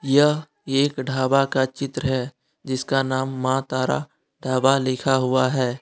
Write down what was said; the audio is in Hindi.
यह एक ढाबा का चित्र है जिसका नाम मां तारा ढाबा लिखा हुआ है।